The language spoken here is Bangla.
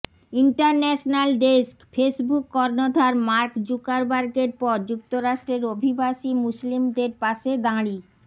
ইন্টারন্যাশনাল ডেস্কঃ ফেসবুক কর্নধার মার্ক জুকারবার্গের পর যুক্তরাষ্ট্রের অভিবাসী মুসলিমদের পাশে দাঁড়ি